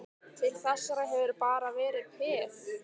Til þessa hefurðu bara verið peð.